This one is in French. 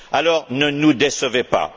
Alors ne nous décevez pas!